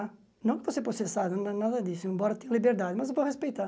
Não que eu vou ser processado, não é nada disso, embora eu tenha liberdade, mas eu vou respeitar.